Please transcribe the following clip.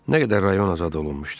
Nə qədər rayon azad olunmuşdu?